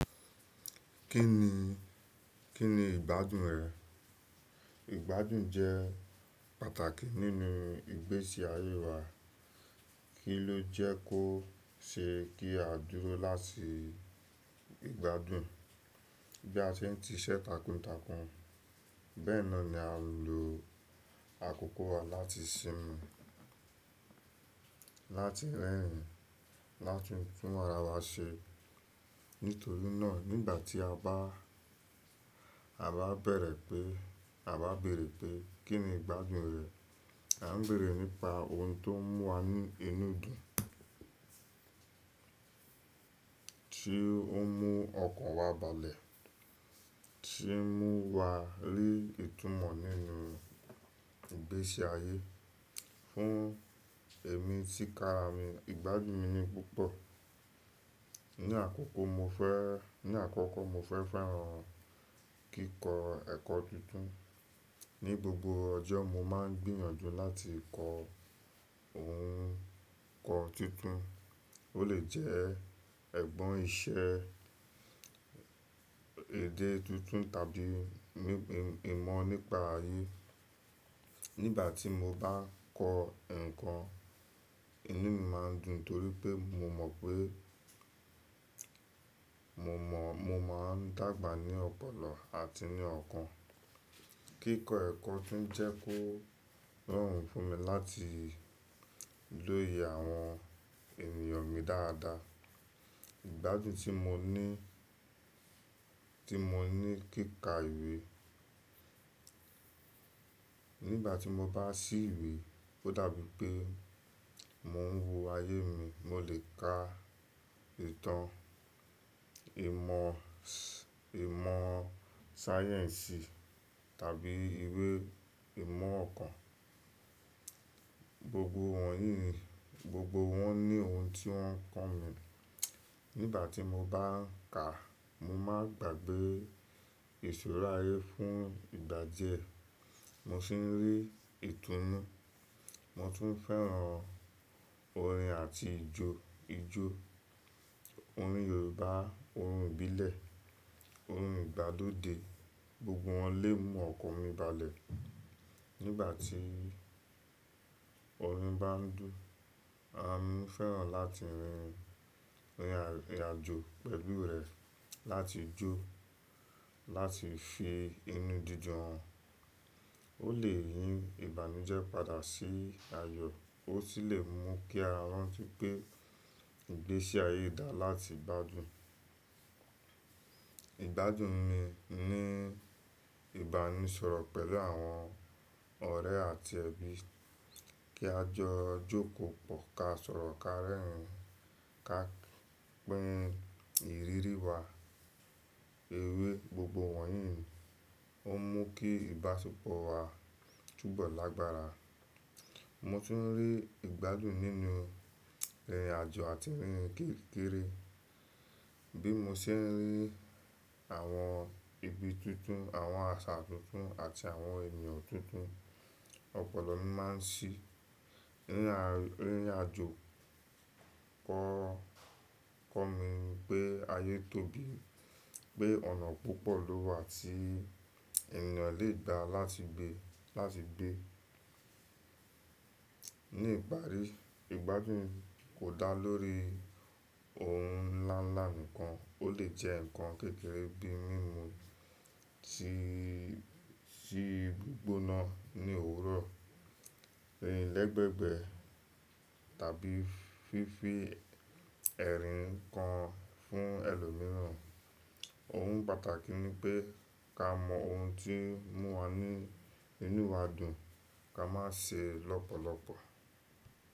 Kí ni, kí ni ìgbádùn rẹ̀? Ìgbádùn jẹ́ pàtàkì nínú ìgbésí ayé wa. Kí ló jẹ́ kó ṣe kí a dúró láti ìgbádùn? Bí a ṣe ń si iṣẹ́ takuntakun, bẹ́ẹ̀ náà ni à ń lo àkókò wa láti ṣinmi, láti rẹ́rìn-ín, láti tún ara wa ṣe. Nítorí náà nígbà tí a bá, a bá bẹ̀rẹ̀ pé, a bá béèrè pé kín ni ìgbádùn rẹ̀, à ń béèrè nípa ohun tó ń mú wa ní inú dùn. Ti ouń mú ọkàn wa balẹ̀, tí ń mú wa rí ìtumọ̀ nínú ìgbésí ayé. Fún èmi tí kára mi, ìgbádùn mi ni púpọ̀. Ni àkọ́kọ́ mo fẹ́, ní àkọ́kọ́ mo fẹ́ran kíkọ ẹ̀kọ́ tuntun. Ni gbogbo ọjọ́ mo máa ń gbìyànjú láti kọ ohun ko tuntun. Ó lè jẹ́ ẹ̀gbọ́n iṣẹ́, èdè tuntun tàbí mím- ìmọ̀ nípa ayé. Nígbà tí mo bá kọ ǹkan, inú mi má ń dùn torí pé mo mọ̀ pé, mo mọ̀, mo má ń dàgbà ní ọ̀pọ̀lọpọ̀ àti ní ọ̀kan. Kíkọ ẹ̀kọ́ tún jẹ́ kó rọrùn fún mi láti lóye àwọn ènìyàn mi dáadáa. Ìgbádùn tí mo ní, tí mo ní kíkà ìwé. Nígbà tí mo bá sí ìwé ó dàbí pé mò ń wo ayé mi. Mo lè ka ìtàn, ìmọ̀ s-- ìmọ̀ sáyẹ̀nsì tàbí ìwé ìmọ̀ ọ̀kan. Gbogbo wọ̀nyí, gbogbo wọn ni ohun tí wọ́n ń kọ́ mi. Nígbà tí mo bá ń ka, mo máa ń gbàgbé ìṣúra ayé fún ìgbà díẹ̀. Mo sì ń rí ìtúnu. Mo tún fẹ́ran orin àti ijó, ijó. Orin Yorùbá, orin ìbílẹ̀, orin ìgbàlóde, gbogbo wọn lè mú ọkàn mi balẹ̀. Nígbà tí orin bá ń dùn, a mo fẹ́ran láti rin, rìnrìn àjò pẹ̀lú rẹ̀, láti jó, láti fi inú didun hàn. Ó lè yí ìbànújẹ́ padà sí ayọ̀, ó sì lè mú kí ara wa tun gbé ìgbésí ayé dà láti gbádùn. Ìgbádùn ni ní ìbánisọ̀rọ̀ pẹ̀lú àwọn ọ̀rẹ́ àti ẹbí. Kí á jọ jókòó pọ̀, ká sọ̀rọ̀, ká rẹ́rìn-ín, ká pín ìrírí wa, ewé, gbogbo wọ̀nyí ó mú kí ìbáṣepọ̀ wa túbọ̀ lágbára. Mo tún ń rí ìgbádùn nínú rìnrìn àjò àti rírin kirikiri. Bí mo ṣe ń rí àwọn ibi tuntun, àwọn àṣà tuntun àti àwọn ènìyàn tuntun, ọ̀pọ̀lọ mi máa ń ṣí. Rìn àjò, o kọ́ mi pé ayé tóbi, pé ọ̀nà púpọ̀ ló wà tí ènìyàn lè gbaá láti gbé, láti gbé. Ni ìparí, ìgbádùn kò dá lórí ohun ńláńlá nìkan. Ó lè jẹ́ ǹkan kékeré bíi mímu tí, ti gbígbóná ní òwúrọ̀, rìn lẹ̀gbẹ̀ẹ̀gbẹ́ tàbí fífi ẹ̀rín kan fún ẹlòmíràn. Ohun pàtàkì ni pé ká mọ ohun tí ń mú wa ní inú wa dùn, tá má n ṣe lọ́pọ̀lọpọ̀.